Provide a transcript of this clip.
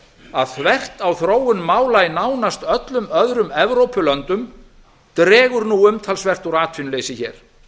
að þvert á þróun mála í nánast öllum öðrum evrópulöndum dregur nú umtalsvert úr atvinnuleysi hér